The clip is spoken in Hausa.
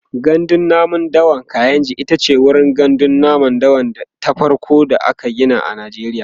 gandun namun dawan kainji itace wurin gandun namun dawa ta farko da aka Gina a najeriya